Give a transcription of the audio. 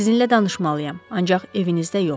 Sizinlə danışmalıyam, ancaq evinizdə yox.